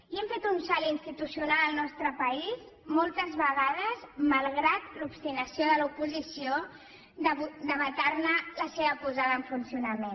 i hem fet un salt institucional al nostre país moltes vegades malgrat l’obstinació de l’oposició de vetarne la seva posada en funcionament